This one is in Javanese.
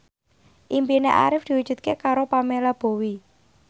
impine Arif diwujudke karo Pamela Bowie